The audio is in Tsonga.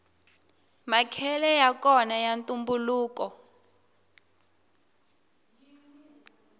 makhele yakona ya ntumbuluko